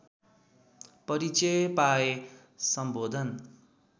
परिचय पाए सम्बोधन